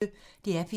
DR P1